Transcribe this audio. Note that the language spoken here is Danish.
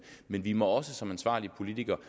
men vi må som ansvarlige politikere